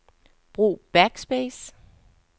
Brug backspace.